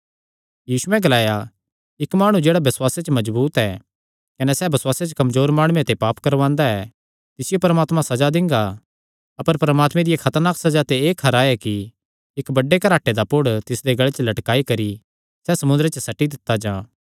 यीशुयैं ग्लाया इक्क माणु जेह्ड़ा बसुआसे च मजबूत ऐ कने सैह़ बसुआसे च कमजोर माणुये ते पाप करवांदा ऐ तिसियो परमात्मा सज़ा दिंगा अपर परमात्मे दिया खतरनाक सज़ा ते एह़ खरा कि बड्डे घराटे दा पुड़ तिसदे गल़े च लटकाई करी सैह़ समुंदरे च सट्टी दित्ता जां